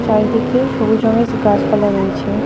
চারিদিকে সবুজ রঙের গাছপালা রয়েছে.